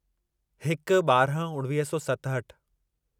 हिक ॿारहं उणिवीह सौ सतहठि